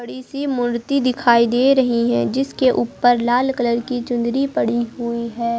बड़ी सी मूर्ति दिखाई दे रही हैं जिसके ऊपर लाल कलर की चुनरी पड़ी हुई है।